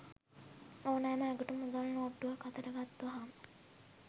ඕනෑම අයෙකුට මුදල් නෝට්ටුවක් අතට ගත් වහාම